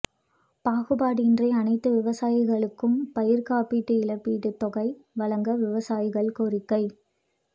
பாகுபாடின்றி அனைத்து விவசாயிகளுக்கும் பயிா் காப்பீடு இழப்பீட்டுத் தொகை வழங்க விவசாயிகள் கோரிக்கை